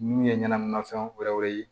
Min ye ɲɛnaminimafɛnw wɛrɛw ye